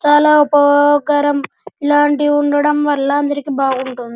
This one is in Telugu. చాలా ఉపయోగకరం. ఇలాంటివి ఉండటం వల్ల అందరికీ చాలా బాగుంటుంది.